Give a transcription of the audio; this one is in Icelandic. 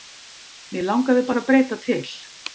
Mig langaði bara að breyta til.